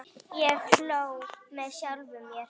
Ég hló með sjálfum mér.